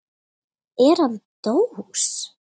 Er hann dós?